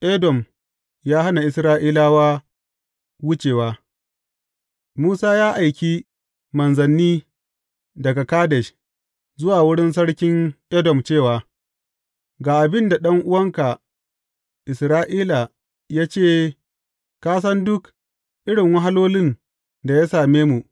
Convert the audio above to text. Edom ya hana Isra’ila wucewa Musa ya aiki manzanni daga Kadesh zuwa wurin sarkin Edom cewa, Ga abin da ɗan’uwanka Isra’ila ya ce ka san duk irin wahalolin da ya same mu.